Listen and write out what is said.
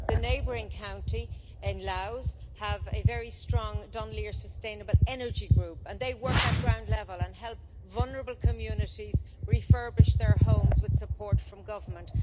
The neighbouring county, Louth, have a very strong Dunleer Sustainable Energy group and they work at ground level and help vulnerable communities refurbish their homes with support from government.